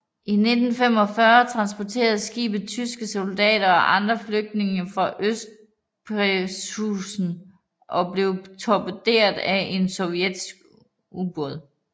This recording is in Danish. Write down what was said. I 1945 transporterede skibet tyske soldater og andre flygtninge fra Østpreussen og blev torpederet af en sovjetisk ubåd